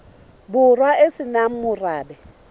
borwa e se nang morabe